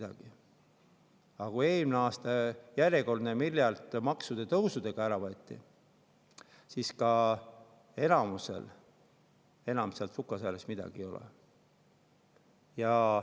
Aga kui eelmine aasta järjekordne miljard maksutõusudega ära võeti, siis enamikul enam sukasääres midagi ei olnud.